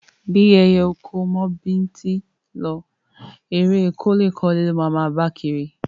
Bí ẹyẹ oko ò mọ bíntín lọ, eré e kó kọ́lé ló máa máa bá kiri.